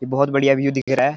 ये बहोत बढ़िया व्यू दिख रहा है।